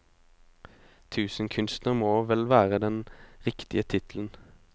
Tusenkunstner må vel være den riktige tittelen.